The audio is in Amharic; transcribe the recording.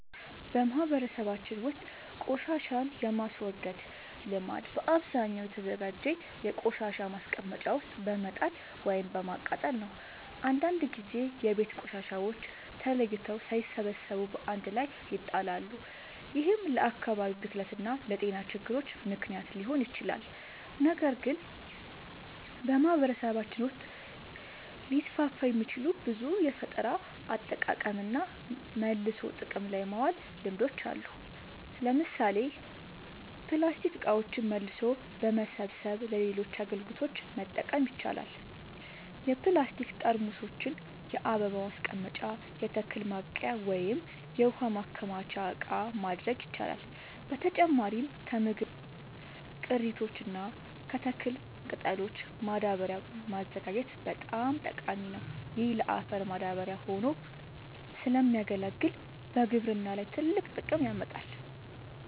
በማህበረሰባችን ውስጥ ቆሻሻን የማስወገድ ልምድ በአብዛኛው በተዘጋጀ የቆሻሻ ማስቀመጫ ውስጥ በመጣል ወይም በማቃጠል ነው። አንዳንድ ጊዜ የቤት ቆሻሻዎች ተለይተው ሳይሰበሰቡ በአንድ ላይ ይጣላሉ፤ ይህም ለአካባቢ ብክለት እና ለጤና ችግሮች ምክንያት ሊሆን ይችላል። ነገር ግን በማህበረሰባችን ውስጥ ሊስፋፉ የሚችሉ ብዙ የፈጠራ አጠቃቀምና መልሶ ጥቅም ላይ ማዋል ልምዶች አሉ። ለምሳሌ ፕላስቲክ እቃዎችን መልሶ በመሰብሰብ ለሌሎች አገልግሎቶች መጠቀም ይቻላል። የፕላስቲክ ጠርሙሶችን የአበባ ማስቀመጫ፣ የተክል ማብቀያ ወይም የውሃ ማከማቻ እቃ ማድረግ ይቻላል። በተጨማሪም ከምግብ ቅሪቶች እና ከተክል ቅጠሎች ማዳበሪያ ማዘጋጀት በጣም ጠቃሚ ነው። ይህ ለአፈር ማዳበሪያ ሆኖ ስለሚያገለግል በግብርና ላይ ትልቅ ጥቅም ያመጣል።